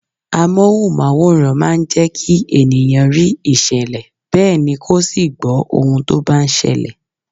Amohunmaworan máa ń jẹkí ènìyàn rí ìṣẹ̀lẹ̀ bẹ́ẹ̀ ni kó sì gbó ohun tó bá ń ṣẹlẹ̀.